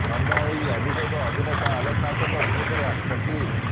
ନନ୍ଦା ଏହି ଅଭିଯୋଗ ଅଭିନେତା ଆଲୋକ ନାଥଙ୍କ ବିରୋଧରେ ଆଣିଛନ୍ତି